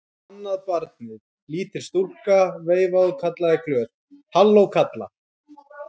Annað barnið, lítil stúlka, veifaði og kallaði glöð: Halló kallar!